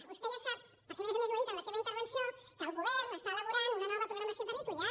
vostè ja sap perquè a més a més ho ha dit en la seva intervenció que el govern està elaborant una nova programació territorial